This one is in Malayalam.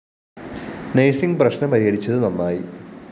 നർസിങ്‌ പ്രശ്‌നം പരിഹരിച്ചത് നന്നായി